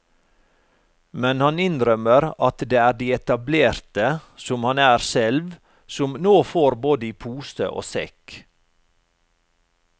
Men han innrømmer at det er de etablerte, som han selv er, som nå får både i pose og sekk.